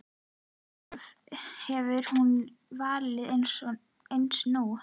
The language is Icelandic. Sjálf hefði hún valið eins nú.